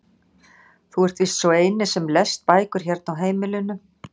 Þú ert víst sá eini sem lest bækur hérna á heimilinu.